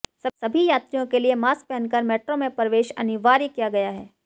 सभी यात्रियों के लिए मास्क पहन कर मेट्रो में प्रवेश अनिवार्य किया गया है